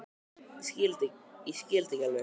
Ég skil þetta ekki alveg.